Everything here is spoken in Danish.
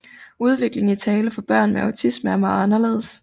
Udvikling i tale for børn med autisme er meget anderledes